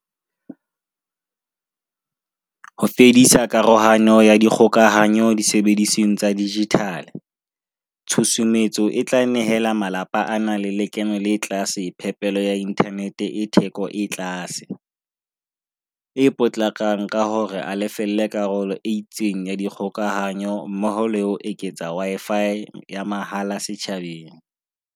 Ho fedisa karohano ya dikgokahanyo disebedisweng tsa dijithale, tshusumetso e tla nehela malapa a nang le lekeno le tlase phepelo ya inthanete e theko e tlase, e potlakang ka ho a lefella karolo e itseng ya dikgokahanyo mmoho le ho eketsa Wi-Fi ya mahala setjhabeng.